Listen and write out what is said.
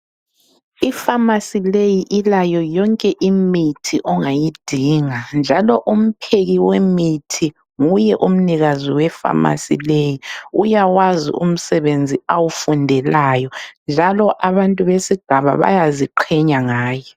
I phamarcy leyi ilayo yonke imithi ongayidinga njaloumpheki wemithi nguye umnikazi we pharmacy leyi . Uyawazi umsebenzi awufundelayo njalo abantu besigaba bayaziqhenya ngaye.